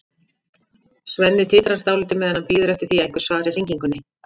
Svenni titrar dálítið meðan hann bíður eftir því að einhver svari hringingunni.